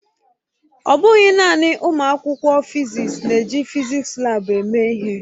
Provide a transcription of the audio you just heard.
Ọ bụghị naanị ụmụ akwụkwọ fịzịksi na-eji fịzịksi laabu eme ihe.